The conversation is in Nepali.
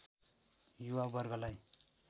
युवा वर्गलाई